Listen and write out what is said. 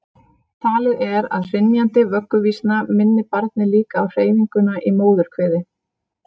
Talið er að hrynjandi vögguvísna minni barnið líka á hreyfinguna í móðurkviði.